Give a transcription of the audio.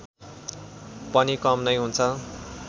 पनि कम नै हुन्छ